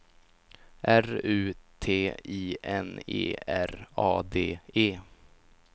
R U T I N E R A D E